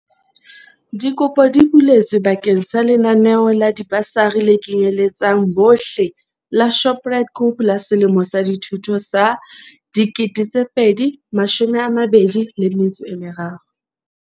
Dikopo di buletswe ba keng sa lenaneo la dibasari le kenyeletsang bohle la Shoprite Group la selemo sa dithuto sa 2023.